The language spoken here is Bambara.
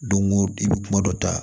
Don go don i bɛ kuma dɔ ta